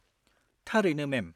थारैनो, मेम।